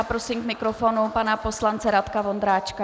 A prosím k mikrofonu pana poslance Radka Vondráčka.